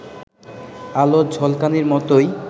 আলোর ঝলকানির মতোই